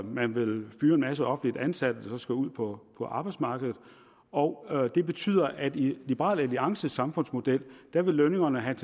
man vil fyre en masse offentligt ansatte der så skal ud på arbejdsmarkedet og det betyder at i liberal alliances samfundsmodel vil lønningerne have